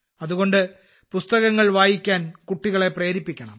അതുകൊണ്ട് പുസ്തകങ്ങൾ വായിക്കാൻ കുട്ടികളെ പ്രേരിപ്പിക്കണം